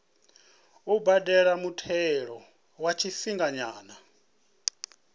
u badela muthelo wa tshifhinganyana